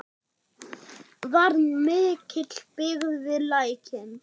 Var mikil byggð við Lækinn?